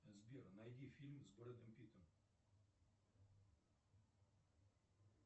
сбер найди фильм с брэдом питтом